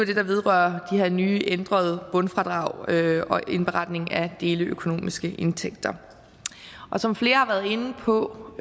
det der vedrører de her nye ændrede bundfradrag og indberetningen af deleøkonomiske indtægter som flere har været inde på